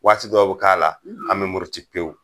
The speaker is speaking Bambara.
Waati dɔw bɛ k'a la , an bɛ muruti pewu!